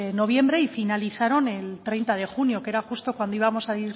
noviembre y finalizaron el treinta junio que era justo cuando íbamos